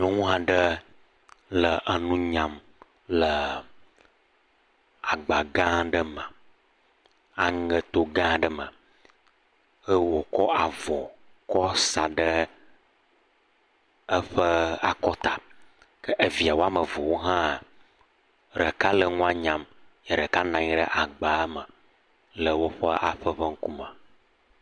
Nyɔnu aɖe le nu nyam le agba gã aɖe me, aŋeto gã aɖe me eye wokɔ avɔ kɔ sa ɖe eƒe akɔta ke eviawo eve hã, ɖeka le nu nyam eye ɖeka nɔ anyi ɖe agba me le woƒe aƒe ƒe ŋkume.